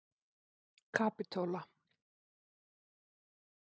Kapitola